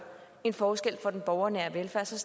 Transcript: en forskel for den borgernære velfærd til